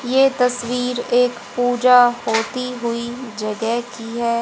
ये तस्वीर एक पूजा होती हुई जगह की है।